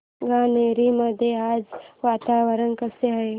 गणोरे मध्ये आज वातावरण कसे आहे